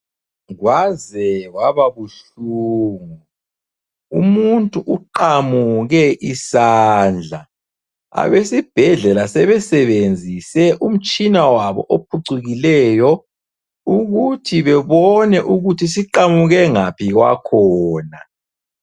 Kwaze kwababuhlungu. Umuntu uqamuke isandla. Abesibhedlela sebesebenzise umtshina wabo ophucukileyo ukuthi bebone ukuthi siqamuke ngaphi kwakhona.